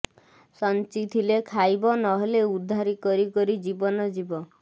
ସଂଚିଥିଲେ ଖାଇବ ନହେଲେ ଉଧାରି କରି କରି ଜୀବନ ଯିବ